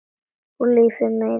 Og lífið meiðir.